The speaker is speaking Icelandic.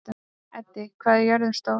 Eddi, hvað er jörðin stór?